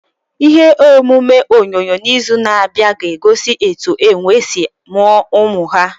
Ihe omume onyonyo n'izu na-abịa ga-egosi etu enwe si mụọ ụmụ ha.